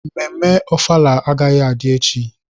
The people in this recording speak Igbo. Mmemme ofala agaghị adị echi.